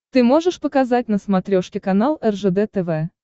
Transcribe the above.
ты можешь показать на смотрешке канал ржд тв